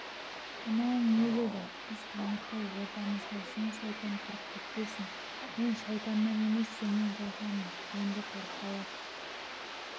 мынауың не деді қыз таңырқай ортамызға жын-шайтан кіріп кетпесін мен шайтаннан емес сенен қорқамын енді қорықпай-ақ